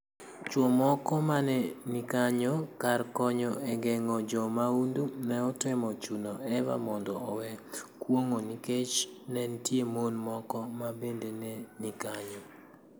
Chwo moko ma ne ni kanyo, kar konyo e geng'o jo mahundu, ne otemo chuno Eva mondo owe kuong'o nikech ne nitie mon moko ma bende ne ni kanyo.